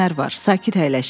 Sakit əyləşin.